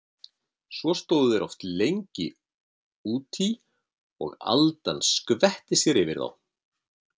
Svo stóðu þeir oft lengi út í og aldan skvetti sér yfir þá.